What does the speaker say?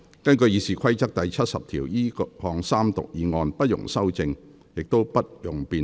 根據《議事規則》第70條，這項三讀議案不容修正，亦不容辯論。